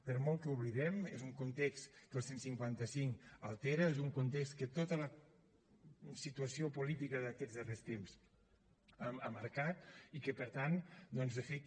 per molt que ho oblidem és un context que el cent i cinquanta cinc altera és un context que tota la situació política d’aquests darrers temps ha marcat i que per tant doncs de fer que